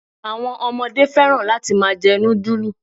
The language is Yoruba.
Àwọn ọmọdé fẹ́ràn láti máa jẹ núdúlù